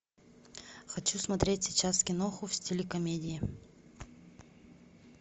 хочу смотреть сейчас киноху в стиле комедии